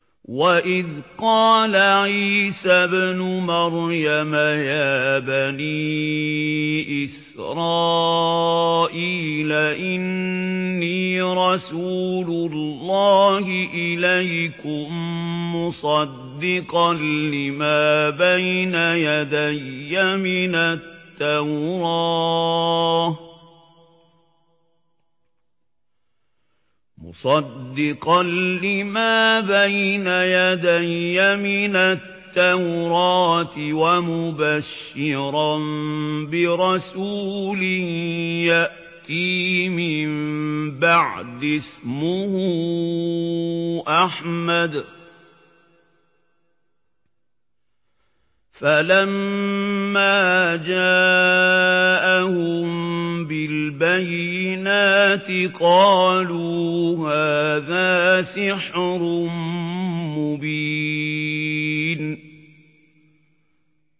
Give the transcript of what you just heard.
وَإِذْ قَالَ عِيسَى ابْنُ مَرْيَمَ يَا بَنِي إِسْرَائِيلَ إِنِّي رَسُولُ اللَّهِ إِلَيْكُم مُّصَدِّقًا لِّمَا بَيْنَ يَدَيَّ مِنَ التَّوْرَاةِ وَمُبَشِّرًا بِرَسُولٍ يَأْتِي مِن بَعْدِي اسْمُهُ أَحْمَدُ ۖ فَلَمَّا جَاءَهُم بِالْبَيِّنَاتِ قَالُوا هَٰذَا سِحْرٌ مُّبِينٌ